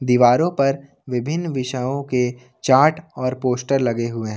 दीवारों पर विभिन्न विषयों के चार्ट और पोस्टर लगे हुए हैं।